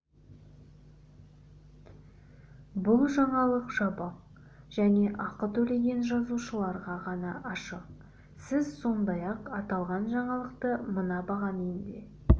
бұл жаңалық жабық және ақы төлеген жазылушыларға ғана ашық сіз сондай-ақ аталған жаңалықты мына бағамен де